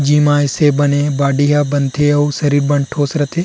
Gym आय से बने बॉडी ह बनथे अउ शरीर मन ठोस रथे.